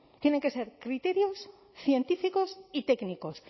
tienen que ser criterios científicos y técnicos